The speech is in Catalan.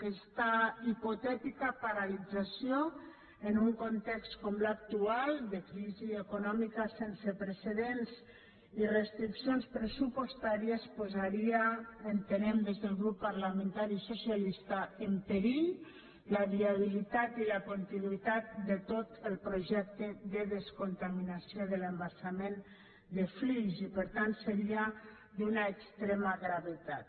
aquesta hipotètica paralització en un context com l’actual de crisi econòmica sense precedents i restriccions pressupostàries posaria entenem des del grup parlamentari socialista en perill la viabilitat i la continuïtat de tot el projecte de descontaminació de l’embassament de flix i per tant seria d’una extrema gravetat